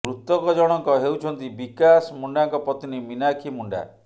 ମୃତକ ଜଣଙ୍କ ହେଉଛନ୍ତି ବିକାଶ ମୁଣ୍ଡାଙ୍କ ପତ୍ନୀ ମିନାକ୍ଷୀ ମୁଣ୍ଡା